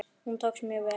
Hún tókst mjög vel.